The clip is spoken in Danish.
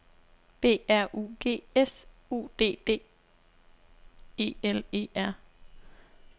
B R U G S U D D E L E R